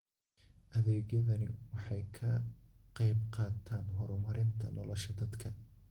Adeegyadani waxay ka qaybqaataan horumarinta nolosha dadka.